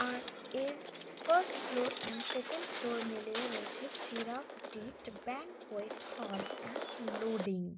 আর এর first floor and second floor মিলিয়ে রয়েছে চিরাফ ডিড ব্যাংকুয়েট হল এন্ড লোডিং ।